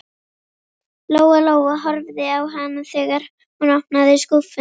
Lóa Lóa horfði á hana þegar hún opnaði skúffuna.